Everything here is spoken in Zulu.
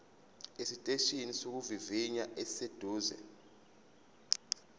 esiteshini sokuvivinya esiseduze